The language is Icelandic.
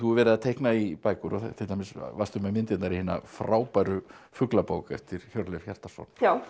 verið að teikna í bækur og til dæmis varstu með myndirnar í hina frábæru Fuglabók eftir Hjörleif Hjartarson